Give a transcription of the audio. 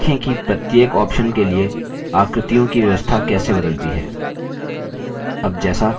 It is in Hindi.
देखें कि प्रत्येक option के लिए आकृतियों की व्यवस्था कैसे बदलती है